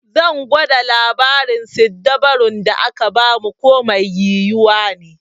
Zan gwada labarin siddabarun da aka ba mu ko mai yiwuwa ne.